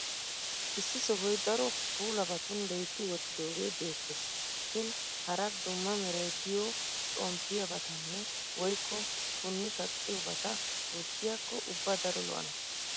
Issi sohoy daro puulabatun loytti wottidoogee beettees. Shin hara dumma Meray diyo xomppiyaabatanne woykko punni kaqqiyoobata gujjiyakko ubba daro lo'anashin.